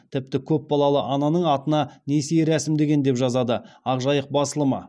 тіпті көпбалалы ананың атына несие рәсімдеген деп жазады ақ жайық басылымы